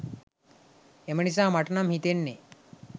එම නිසා මට නම් හිතෙන්නේ